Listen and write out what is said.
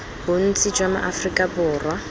bontsi jwa ma aforika borwa